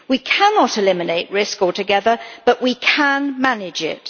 We cannot eliminate risk altogether but we can manage it.